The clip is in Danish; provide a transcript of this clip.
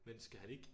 Men skal han ikke?